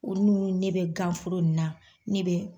Olu munnu ni ne bɛ ganforo nin na ne bɛ